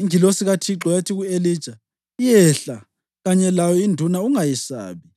Ingilosi kaThixo yathi ku-Elija, “Yehla kanye layo induna; ungayesabi.”